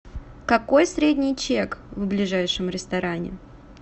какой средний чек в ближайшем ресторане